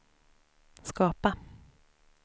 skapa